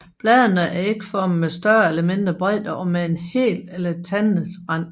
Bladene er ægformede med større eller mindre bredde og med hel eller tandet rand